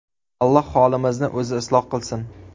Alloh holimizni O‘zi isloh qilsin.